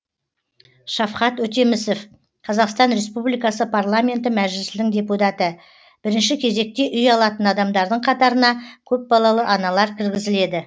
шавхат өтемісов қазақстан республикасы парламенті мәжілісінің депутаты бірінші кезекте үй алатын адамдардың қатарына көпбалалы аналар кіргізіледі